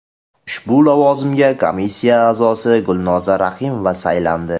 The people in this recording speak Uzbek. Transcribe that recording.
Ushbu lavozimga komissiya a’zosi Gulnoza Rahimova saylandi.